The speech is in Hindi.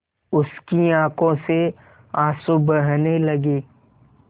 उसकी आँखों से आँसू बहने लगे